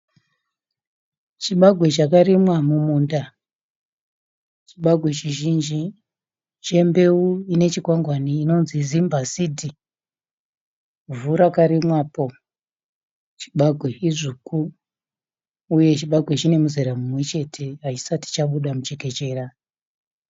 Chibagwe chakarimwa mumumunda chibagwe chizhinji chombeu ine chikwangwani inonzi zimba sidhi vhu rakarimwapo chibagwe idzvuku uye chibagwe chinemuzera mumwe chete hachaisati chabuda muchekechera